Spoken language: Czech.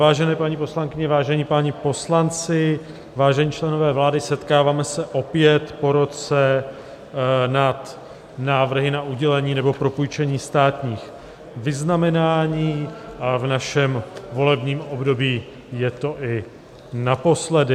Vážené paní poslankyně, vážení páni poslanci, vážení členové vlády, setkáváme se opět po roce nad návrhy na udělení nebo propůjčení státních vyznamenání a v našem volebním období je to i naposledy.